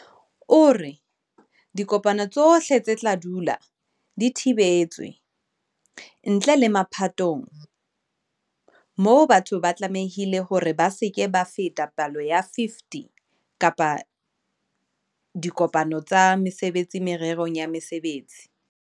O re, "Dikopano tsohle di tla dula di thibetswe, ntle le mapatong moo batho ba tlamehileng hore ba se ke ba feta palo ya 50 kapa diko-pano tsa mesebetsi mererong ya mosebetsi."